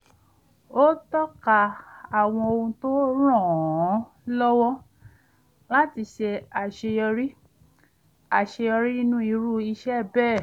ó tọ́ka àwọn ohun tó ràn án lọ́wọ́ láti ṣe àṣeyọrí àṣeyọrí nínú irú iṣẹ́ bẹ́ẹ̀